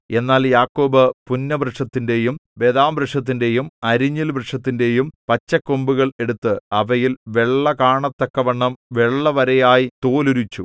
എന്നാൽ യാക്കോബ് പുന്നവൃക്ഷത്തിന്റെയും ബദാംവൃക്ഷത്തിന്റെയും അരിഞ്ഞിൽവൃക്ഷത്തിന്റെയും പച്ചക്കൊമ്പുകൾ എടുത്ത് അവയിൽ വെള്ള കാണത്തക്കവണ്ണം വെള്ളവരയായി തോലുരിച്ചു